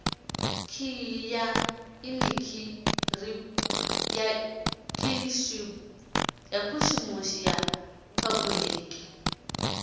khiyi ya inikiripushini ya phabuliki